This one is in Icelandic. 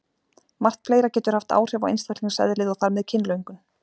Margt fleira getur haft áhrif á einstaklingseðlið og þar með kynlöngun.